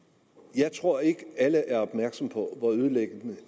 jeg tror ikke at alle er opmærksomme på hvor ødelæggende